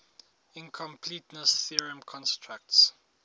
incompleteness theorem constructs